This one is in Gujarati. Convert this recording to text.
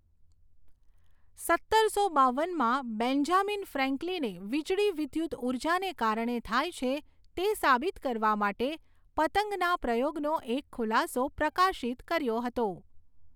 સત્તરસો બાવનમાં, બેન્જામિન ફ્રેન્કલિને વીજળી વિદ્યુતઊર્જાને કારણે થાય છે તે સાબિત કરવા માટે પતંગના પ્રયોગનો એક ખુલાસો પ્રકાશિત કર્યો હતો.